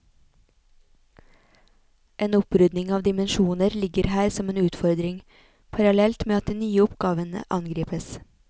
En opprydning av dimensjoner ligger her som en utfordring, parallelt med at de nye oppgavene angripes.